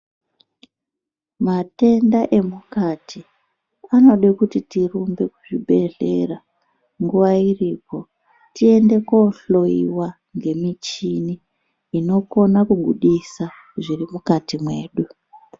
Matenda emukati anode kuti tirumbe kuzvibhehlera nguwa iripo tiende tohlowiwa ngemichini inokone kubudisa zviri mukati mwedu.